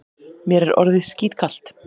Mér er orðið skítkalt.